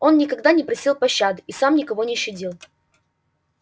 он никогда не просил пощады и сам никого не щадил